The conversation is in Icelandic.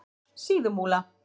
Síðumúla